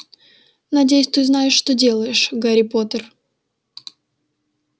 надеюсь ты знаешь что делаешь гарри поттер